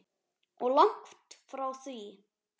Og langt frá því.